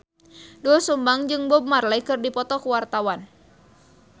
Doel Sumbang jeung Bob Marley keur dipoto ku wartawan